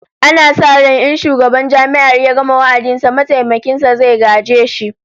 Ana sa ran in shugaban Jami'ar ya gama wa'adin sa, mataimakin sa zai gaje shi